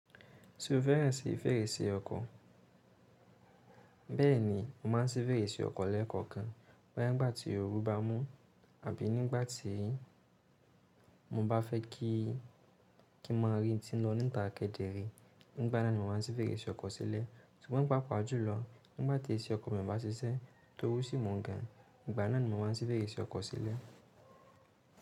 Ti o fẹ́ràn sí fèrèsé ọkọ̀, bẹ́ẹ̀ni mo máà ń sí fèrèsé ọkọ̀ lẹ́ẹ̀kọ̀kan. Nígbà tí oru bá mú àbí nígbà tí mo bá fẹ́ kí i kí mọ rin tí ń lọ níta kedere, nígbà náà ni mo máa ń sí fèrèsé ọkọ̀ sílẹ̀. Ṣùgbọ́n pàápàá jùlọ, nígbà tí AC ọkọ̀ mi o bá ṣiṣẹ́ tọ́ru sí ń mu gan, nígbà náà ni mo máa ń sí fèrèsé ọkọ̀ sílẹ̀